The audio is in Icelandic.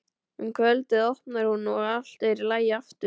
Um kvöldið opnar hún og allt er í lagi aftur.